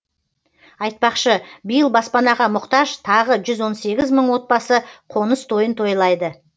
айтпақшы биыл баспанаға мұқтаж тағы жүз он сегіз мың мың отбасы қоныс тойын тойлайды